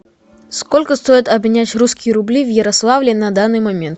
сколько стоит обменять русские рубли в ярославле на данный момент